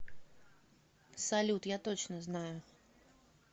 салют я точно знаю